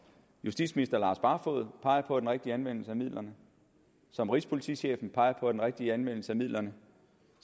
justitsminister lars barfoed peger på er den rigtige anvendelse af midlerne som rigspolitichefen peger på er den rigtige anvendelse af midlerne